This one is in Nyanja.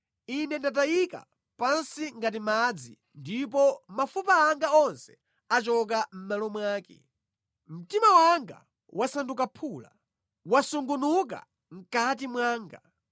Ine ndatayika pansi ngati madzi ndipo mafupa anga onse achoka mʼmalo mwake. Mtima wanga wasanduka phula; wasungunuka mʼkati mwanga.